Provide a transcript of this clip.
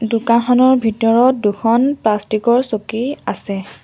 দোকানখনৰ ভিতৰত দুখন প্লাষ্টিক ৰ চকী আছে।